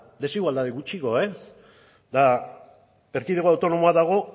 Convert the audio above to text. desigualdade gutxiago eta erkidego autonomoa dago